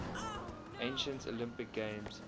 ancient olympic games